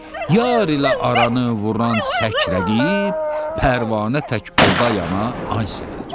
Yar ilə aranı vuran səkər rəqib pərvanə tək oda yana, ay Səfər!